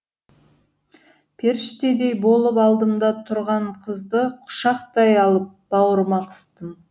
періштедей болып алдымда тұрған қызды құшақтай алып бауырыма қыстым